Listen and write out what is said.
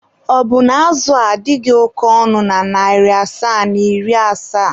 Ọ bụna azụ a adịghị oke ọnụ na narị asaa na iri asaa?